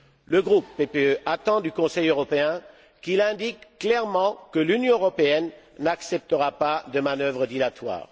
Le groupe PPE attend du Conseil européen qu'il indique clairement que l'Union européenne n'acceptera pas de manœuvre dilatoire.